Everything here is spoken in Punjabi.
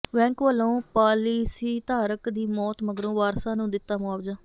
ਬੈਂਕ ਵੱਲੋਂ ਪਾਲਿਸੀਧਾਰਕ ਦੀ ਮੌਤ ਮਗਰੋਂ ਵਾਰਸਾਂ ਨੂੰ ਦਿੱਤਾ ਮੁਆਵਜ਼ਾ